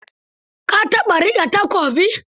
Ka taɓa riƙe takobi?